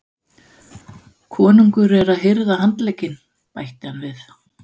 Konungur er að hirða handlegginn, bætti hann við.